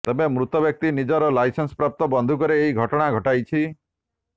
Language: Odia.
ତେବେ ମୃତ ବ୍ୟକ୍ତି ନିଜର ଲାଇସେନ୍ସ ପ୍ରାପ୍ତ ବନ୍ଧୁକରେ ଏହି ଘଟଣା ଘଟାଇଛି